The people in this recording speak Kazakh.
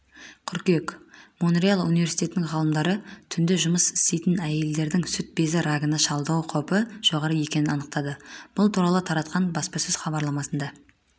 қыркүйек монреаль университетінің ғалымдары түнде жұмыс істейтін әйелдердің сүт безі рагына шалдығу қаупі жоғары екенін анықтады бұл туралы таратқан баспасөз хабарламасында